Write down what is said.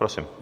Prosím.